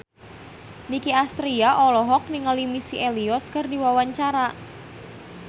Nicky Astria olohok ningali Missy Elliott keur diwawancara